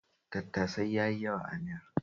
Tattasai ya yi yawa a miyar